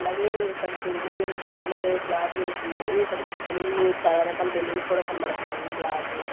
అలాగే ఇక్కడ టేబుల్ మీద ఎల్లో కలరు క్లాత్ వేసుంది ఇక్కడ బెలూన్లు చాలా రకాల బెలూన్స్ కనబడతన్నాయి బ్లాకు --